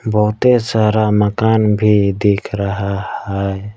बहुते सारा मकान भी दिख रहा है।